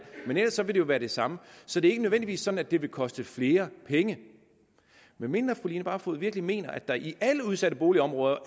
men ellers vil det jo være det samme så det er ikke nødvendigvis sådan at det vil koste flere penge medmindre fru line barfod virkelig mener at der i alle udsatte boligområder